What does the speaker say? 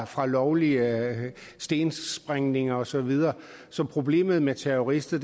fra lovlige stensprængninger og så videre så problemet med terrorister